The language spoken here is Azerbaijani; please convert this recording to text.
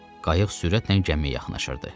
Qayıq sürətlə gəmiyə yaxınlaşırdı.